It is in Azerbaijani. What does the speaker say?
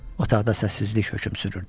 Otaqda səssizlik hökm sürürdü.